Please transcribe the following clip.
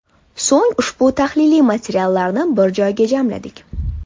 So‘ng ushbu tahliliy materiallarni bir joyga jamladik.